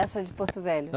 Essa de Porto Velho